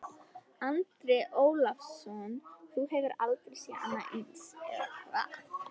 Andri Ólafsson: Þú hefur aldrei séð annað eins, eða hvað?